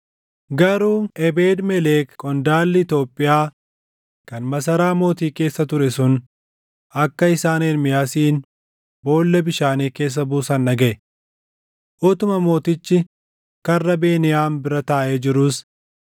Garuu Ebeed-Melek qondaalli Itoophiyaa kan masaraa mootii keessa ture sun akka isaan Ermiyaasin boolla bishaanii keessa buusan dhagaʼe. Utuma mootichi Karra Beniyaam bira taaʼee jiruus,